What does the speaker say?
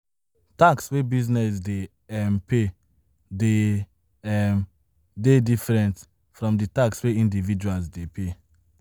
Tax wey business dey um pay de um dey different from di tax wey individuals dey pay